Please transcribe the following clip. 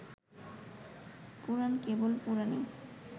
পুরাণ কেবল পুরাণই